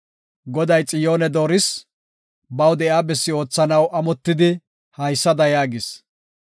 Goday Xiyoone dooris; baw de7iya bessi oothanaw amotidi, haysada yaagis;